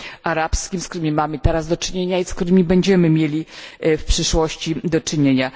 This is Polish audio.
arabskim, z którymi mamy teraz do czynienia i z którymi będziemy mieli w przyszłości do czynienia?